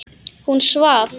Hún svaf.